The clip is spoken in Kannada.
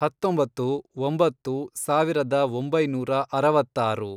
ಹತ್ತೊಂಬತ್ತು, ಒಂಬತ್ತು, ಸಾವಿರದ ಒಂಬೈನೂರ ಅರವತ್ತಾರು